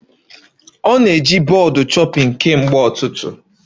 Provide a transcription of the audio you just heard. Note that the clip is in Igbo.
Ọ na-eji bọọdụ chopping kemgbe ụtụtụ